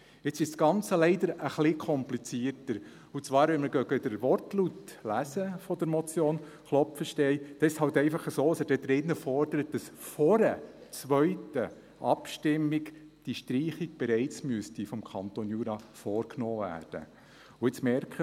Jetzt ist das Ganze leider etwas komplizierter, und zwar wenn wir den Wortlaut der Motion nachlesen, ist es halt einfach so, dass er darin fordert, dass diese Streichung einer zweiten Abstimmung bereits vom Kanton Jura vorgenommen werden müsste.